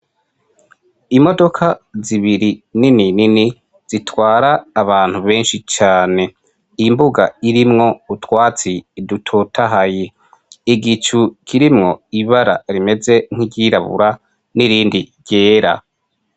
Imodoka zibiri nini nini zitwara abantu benshi cane, imbuga irimwo utwatsi dutotahaye, igicu kirimwo ibara rimeze nk'iryirabura n'irindi ryera.